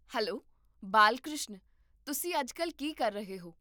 Hello Balkrishan, ਤੁਸੀਂ ਅੱਜਕੱਲ ਕੀ ਕਰ ਰਹੇ ਹੋ?